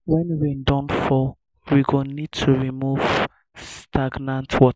when rain don fall we go need to remove stagnant water